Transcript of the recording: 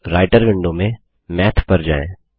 अब writer window में math पर जाएँ